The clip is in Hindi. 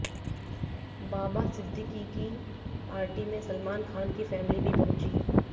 बाबा सिद्दीकी की पार्टी में सलमान खान की फैमिली भी पहुंची